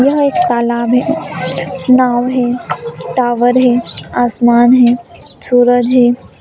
यह एक तालाब है नाँव है टावर है आसमान है सूरज है।